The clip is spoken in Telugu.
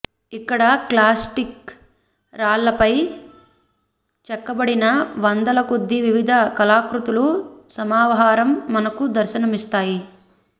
ఇక్కడ క్లాస్టిక్ రాళ్లపై చెక్కబడిన వందల కొద్ది వివిధ కళాకృతుల సమాహారం మనకు దర్శనమిస్తాయి